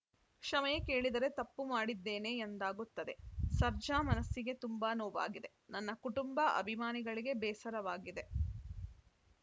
ಕ್ಷಮೆ ಕೇಳಿದರೆ ತಪ್ಪು ಮಾಡಿದ್ದೇನೆ ಎಂದಾಗುತ್ತದೆ ಸರ್ಜಾ ಮನಸ್ಸಿಗೆ ತುಂಬಾ ನೋವಾಗಿದೆ ನನ್ನ ಕುಟುಂಬ ಅಭಿಮಾನಿಗಳಿಗೆ ಬೇಸರವಾಗಿದೆ